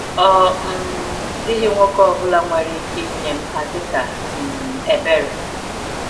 Ọ um dịghị nwoke ọbụla nwere ike inye m ha dịka um ebere.